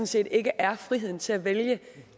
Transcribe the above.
set ikke er friheden til at vælge